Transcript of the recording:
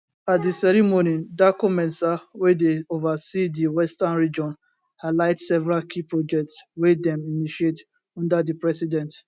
at di ceremony darkomensah wey dey ova see di western region highlight several key projects wey dem initiate under di president